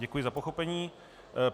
Děkuji za pochopení.